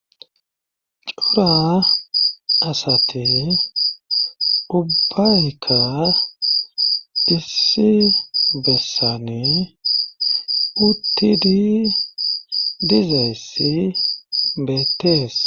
coora asate ubayka disi bessane utidi dizayssi beetees